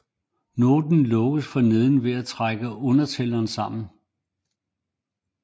Noten lukkes for neden ved at trække undertællen sammen